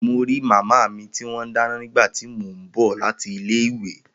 Mo ri maami ti wọn dáná nígbà tí mo bọ lati ilé ìwé